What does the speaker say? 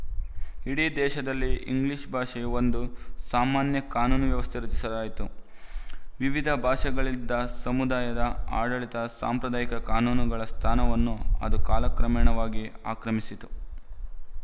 ಇಡಿ ದೇಶದಲ್ಲಿ ಇಂಗ್ಲಿಶ ಭಾಷೆಯ ಒಂದು ಸಾಮಾನ್ಯ ಕಾನೂನು ವ್ಯವಸ್ಥೆ ರಚಿಸಲಾಯಿತು ವಿವಿಧ ಭಾಷೆಗಳಲ್ಲಿದ್ದ ಸಮುದಾಯ ಆಡಳಿತದ ಸಾಂಪ್ರದಾಯಿಕ ಕಾನೂನುಗಳ ಸ್ಥಾನವನ್ನು ಅದು ಕಾಲ ಕ್ರಮೇಣವಾಗಿ ಆಕ್ರಮಿಸಿತು